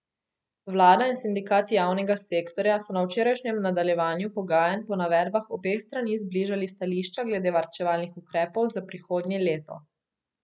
Vlada in sindikati javnega sektorja so na včerajšnjem nadaljevanju pogajanj po navedbah obeh strani zbližali stališča glede varčevalnih ukrepov za prihodnje leto.